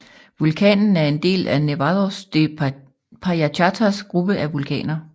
Vulkanen er en del af Nevados de Payachatas gruppe af vulkaner